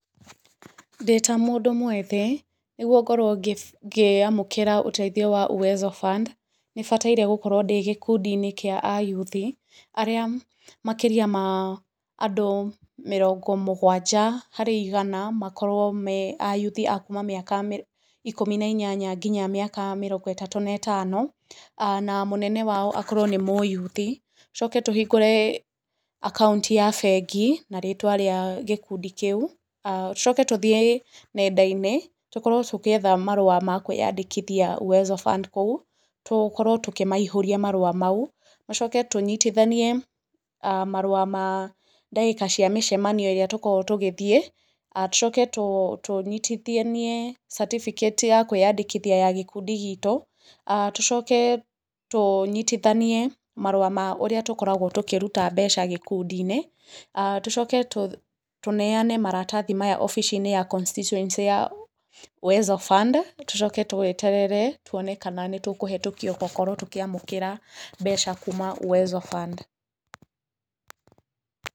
Ndĩ ta mũndũ mwĩthĩ, nĩguo ngorwo ngĩamũkĩra ũteithio wa Uwezo Fund nĩ bataire gũkorwo ndĩ gĩkundi-inĩ kĩa ayuthi arĩa makĩria ma andũ mĩrongo mũgwanja harĩ igana makorwo me ayuthi a kuma mĩaka ikũmi na inyanya nginya mĩaka mĩrongo ĩtatũ na ĩtano, na mũnene wao akorwo nĩ mũyuthi, tũcoke tũhingũre akaũnti ya bengi na rĩtwa rĩa gĩkundi kĩu, tũcoke tũthiĩ nenda-inĩ tukorwo tũgĩetha marũa ma kwandĩkithia Uwezo Fund kũu, tũkorwo tũkĩmaihũria marũa mau, tũcoke tũnyitithanie marũa ma dagĩka cia mĩcemanio ĩrĩa tũkoragwo tũgĩthiĩ, tũcoke tũnyitithanie certificate ya kwĩandĩkithia ya gĩkundi gitũ, tũcoke tũnyitithanie marũa ma ũrĩa tũkoragwo tũkĩruta mbeca gĩkundi-inĩ, tũcoke tũneane maratathi maya obĩci-inĩ ya constituency ya Uwezo Fund, tũcoke tweterere tuone kana nĩ tũkũhetũkio gũkorwo tũkiamũkĩra mbeca kuuma Uwezo Fund.